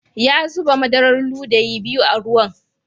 Ya zuba madarar ludayi biyu a ruwan.